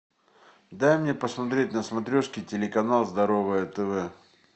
дай мне посмотреть на смотрешке телеканал здоровое тв